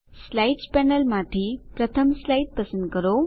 slides પેનલમાંથી પ્રથમ slide પસંદ કરો